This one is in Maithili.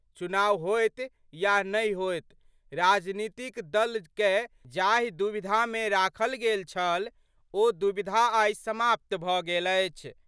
चुनाव होएत या नहि होएत, राजनीतिक दल कए जाहि दुविधा मे राखल गेल छल, ओ दुविधा आइ समाप्त भ गेल अछि।